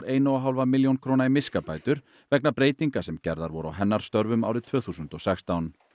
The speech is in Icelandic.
eina og hálfa milljón króna í miskabætur vegna breytinga sem gerðar voru á hennar störfum árið tvö þúsund og sextán